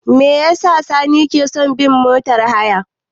Me yasa Sani ke son bin motar haya?